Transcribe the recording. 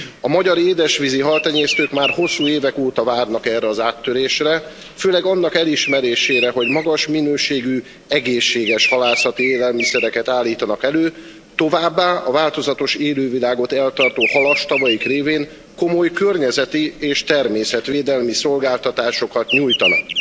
A magyar édesvízi haltenyésztők már hosszú évek óta várnak erre az áttörésre, főleg annak elismerésére, hogy magas minőségű, egészséges halászati élelmiszereket állítanak elő, továbbá a változatos élővilágot eltartó halastavaik révén komoly környezeti és természetvédelmi szolgáltatásokat nyújtanak.